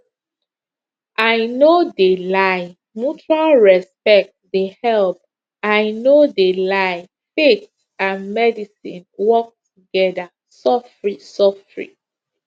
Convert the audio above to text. i no de lie mutual respect de help i no de lie faith and medicine work together sofri sofri